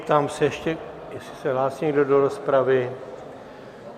Ptám se ještě, jestli se hlásí někdo do rozpravy?